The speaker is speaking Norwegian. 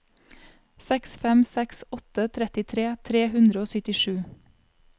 seks fem seks åtte trettitre tre hundre og syttisju